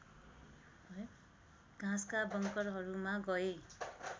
घाँसका बङकरहरूमा गए